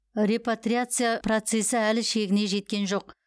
репатриация процесі әлі шегіне жеткен жоқ